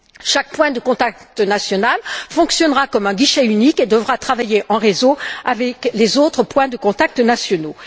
Chaque point de contact national fonctionnera comme un guichet unique et devra travailler en réseau avec les autres points de contact nationaux.